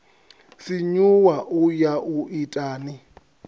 sinyuwa u ya u itani